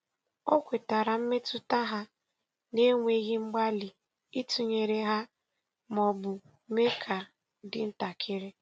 O kwetara mmetụta ha na-enweghị mgbalị ịtụnyere ha ma ọ bụ mee ka dị ntakịrị.